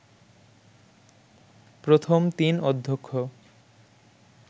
প্রথম তিন অধ্যক্ষ